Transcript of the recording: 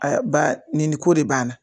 Aa ba nin nin ko de banna